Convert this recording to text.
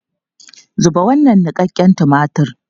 Zuba wannan niƙaƙƙen tumatir!